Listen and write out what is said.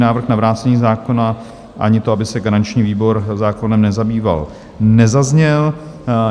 Návrh na vrácení zákona ani to, aby se garanční výbor zákonem nezabýval, nezazněl.